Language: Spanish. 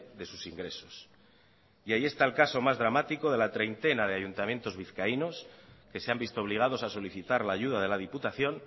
de sus ingresos y ahí está el caso más dramático de la treintena de ayuntamientos vizcaínos que se han visto obligados a solicitar la ayuda de la diputación